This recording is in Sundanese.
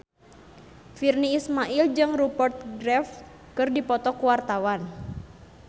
Virnie Ismail jeung Rupert Graves keur dipoto ku wartawan